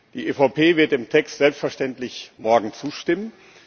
Die EVP wird dem Text selbstverständlich morgen zustimmen.